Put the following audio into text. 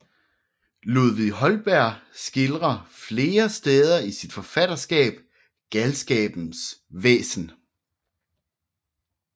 Ludvig Holberg skildrer flere steder i sit forfatterskab galskabens væsen